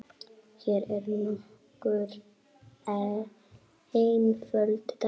Hér eru nokkur einföld dæmi